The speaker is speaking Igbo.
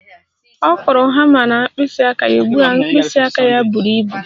Ọ kụrụ hama na mkpịsị aka ya, ugbu a mkpịsị aka ya buru ibu